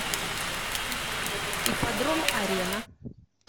ипподром арена